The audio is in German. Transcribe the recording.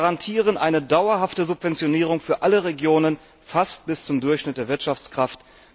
Wir garantieren eine dauerhafte Subventionierung für alle Regionen fast bis zum Durchschnitt der Wirtschaftskraft.